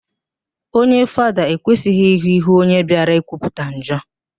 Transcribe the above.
Onye Fada ekwesịghị ịhụ íhú onye bịara ikwupụta njọ